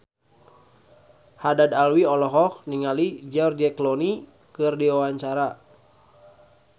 Haddad Alwi olohok ningali George Clooney keur diwawancara